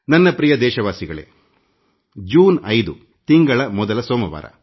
ನನ್ನ ನಲ್ಮೆಯ ದೇಶವಾಸಿಗಳೇ 5ನೇ ತಾರೀಖು ಜೂನ್ತಿಂಗಳ ಮೊದಲ ಸೋಮವಾರ